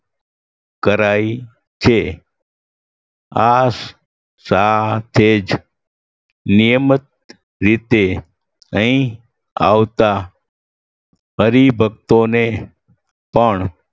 કરાઈ છે આ સાથે જ નિયમત રીતે અહીં આવતા હરિભક્તોને પણ